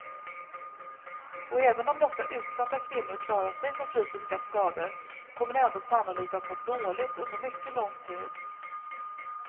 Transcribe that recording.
Och även om dessa utsatta kvinnor klarat sig från fysiska skador kommer de ändå sannolikt att må dåligt under mycket lång tid.